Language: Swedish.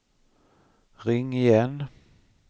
ring igen